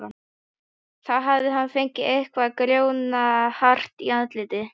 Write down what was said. Þá hafði hann fengið eitthvað grjóthart í andlitið.